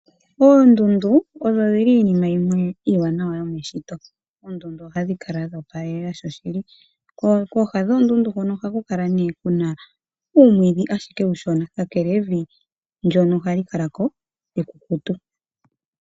Oondundu odho dhili iinima yimwe iiwanawa yomeshito. Oondundu ohadhi kala dho opalelela sho shili, kooha dhoondundu hono ohaku kala nee kuna uumwiidhi ashike uushona kakele evi ndyono hali kala ko ekukutu.